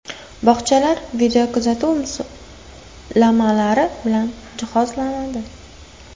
Bog‘chalar videokuzatuv moslamalari bilan jihozlanadi.